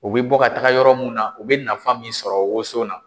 U bɛ bɔ ka taga yɔrɔ mun na u bɛ nafan min sɔrɔ woson na.